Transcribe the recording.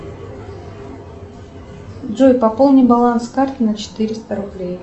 джой пополни баланс карты на четыреста рублей